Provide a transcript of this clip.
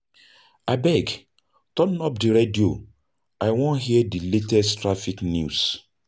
Abeg, turn up di radio, I wan hear di latest traffic news.